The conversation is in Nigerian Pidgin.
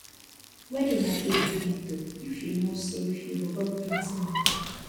wedding na big event o if you no save you go borrow plenty moni